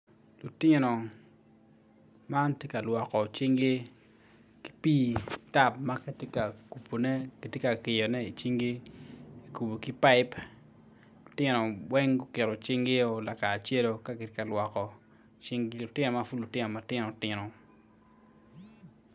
Lutino man tye ka lwoko cingi ki pi tap makitye kabone kitye ka kirone i cinggi kikubo ki paip lutinon weng guketo cinggi o lakaracelo ka gitye ka lwoko cinggi lutino mapud lutino tino..